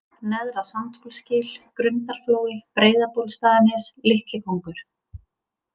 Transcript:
Neðra-Sandhólsgil, Grundarflói, Breiðabólstaðanes, Litlikóngur